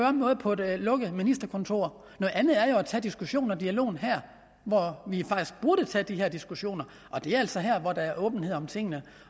om noget på et lukket ministerkontor noget andet er jo tage diskussionen og dialogen her hvor vi faktisk burde tage de her diskussioner det er altså her der er åbenhed om tingene